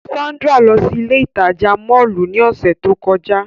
Sandra lọ si ile itaja mọllu ni ọsẹ to kọja.